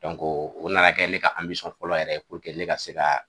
o nana kɛ ne ka fɔlɔ yɛrɛ ye ne ka se ka